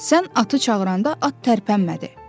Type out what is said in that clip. Sən atı çağıranda at tərpənmədi.